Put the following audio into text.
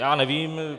Já nevím.